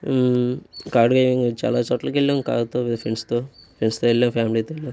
చాలా చోట్లకి వెళ్ళాం కార్ తో ఫ్రెండ్స్ తో. ఫ్రెండ్స్ తో వెళ్ళాం ఫ్యామిలీ తో వెళ్ళాం.